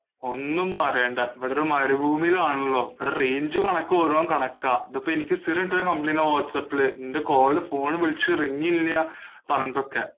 ഒന്നും പറയണ്ട, ഇവിടൊരു മരുഭൂമിയിലാണല്ലോ, അത് range ഉം എനക്ക് ഓരോം കണക്കാ, ഇതിപ്പോ എനിക്ക് സ്ഥിരം കിട്ടണ complaint ആ വാട്സാപ്പില്, നിൻറെ call phone ഇ വിളിച്ച് ring ഇല്യാ പറഞ്ഞിട്ടൊക്കെ